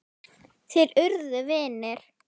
Þeir urðu vinir.